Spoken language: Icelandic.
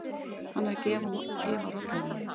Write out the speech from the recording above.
Hann er að gefa rollunum.